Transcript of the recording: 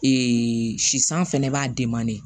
sisan fɛnɛ b'a